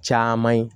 Caman ye